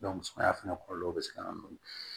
sumaya fɛnɛ kɔlɔlɔ bɛ se ka na dɔɔni